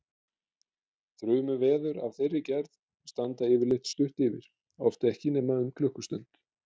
Þrumuveður af þeirri gerð standa yfirleitt stutt yfir, oft ekki nema um klukkustund.